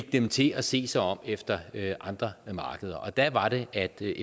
dem til at se sig om efter andre markeder der var det at det